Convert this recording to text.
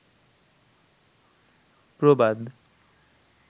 প্রবাদ